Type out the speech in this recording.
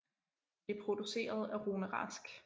Det er produceret af Rune Rask